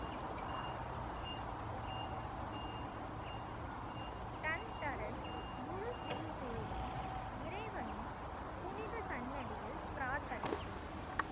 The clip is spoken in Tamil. டன் தரன் முழு சிங் குழுவும் இறைவனின் புனித சன்னதியில் பிராத்தனை செய்தனர்.